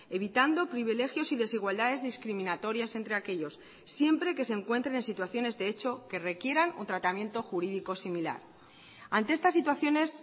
evitando privilegios y desigualdades discriminatorias entre aquellos siempre que se encuentren en situaciones de hecho que requieran un tratamiento jurídico similar ante estas situaciones